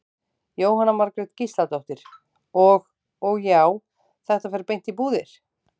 Jóhanna Margrét Gísladóttir: Og, og já, þetta fer beint í búðir?